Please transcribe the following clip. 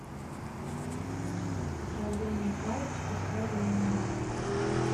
слоеные палочки с вареньем